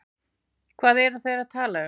Hvað eru þeir að tala um?